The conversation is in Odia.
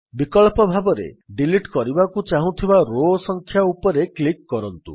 ବିକଳ୍ପ ଭାବରେ ଡିଲିଟ୍ କରିବାକୁ ଚାହୁଁଥିବା ରୋ ସଂଖ୍ୟା ଉପରେ କ୍ଲିକ୍ କରନ୍ତୁ